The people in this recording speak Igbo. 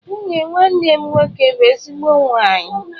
Nwunye nwanne m nwoke bu ezigbo nwanyi.